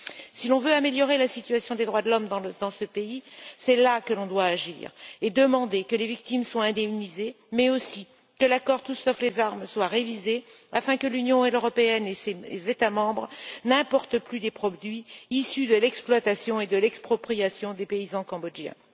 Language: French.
Si l'on veut améliorer la situation des droits de l'homme dans ce pays, c'est là que l'on doit agir et demander que les victimes soient indemnisées, mais aussi que l'accord Tout sauf les armes soit révisé afin que l'Union européenne et ses États membres n'importent plus des produits issus de l'exploitation et de l'expropriation des paysans cambodgiens.